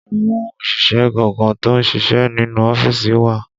Àwọn òṣìṣẹ́ gangan tó ń ṣíṣe nínú ọ́fíìsì wà